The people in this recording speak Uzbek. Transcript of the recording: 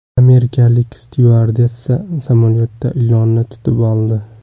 Amerikalik styuardessa samolyotda ilonni tutib oldi.